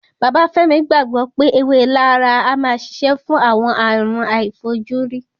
Bàbá Fẹ́mi gbàgbọ́ pé ewé laraa a máa ṣiṣẹ́ fún àwọn àrùn àìfojúrí